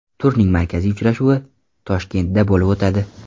Turning markaziy uchrashuvi Toshkentda bo‘lib o‘tadi.